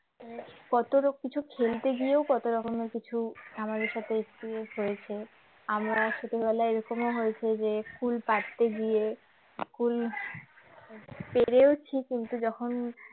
কত কিছু খেলতে গিয়েও কত রকমের কিছু আমাদের সাথে experience হয়েছে আমরা ছোটবেলায় এরকম হয়েছে যে কুল পারতে গিয়ে কুল পেরেওছি কিন্তু যখন